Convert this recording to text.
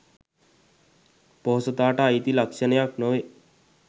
පොහොසතාට අයිති ලක්ෂණයක් නොවේ